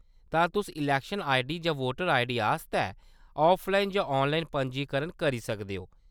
तां तुस election ID जां वोटर आईडी आस्तै ऑफलाइन जां ऑनलाइन पंजीकरण करी सकदे ओ।